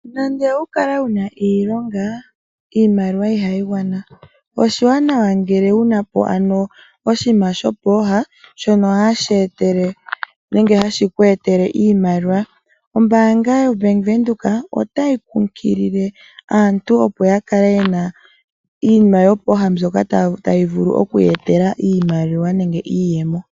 Nande owukale wuna iilonga iimaliwa ihayingwana, oshiwanawa ngele wunapo ano oshiima shopoha shono hashetele nenge hashikwetele iimaliwa, ombanga yo venduka otayi kukilile aantu opo yakale yena Iinima yopoha mbyoka tayivulu okuyetela iimaliwa nenge iiyemo.